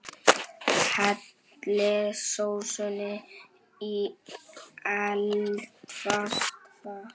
Hellið sósunni í eldfast fat.